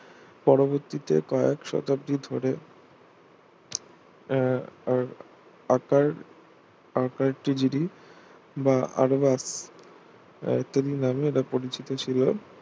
পরবর্তীতে কয়েক শতাব্দী ধরে আহ আকার আকারটি জিডি বা আদোবা রায়তাদি নামে এটা পরিচিত ছিল.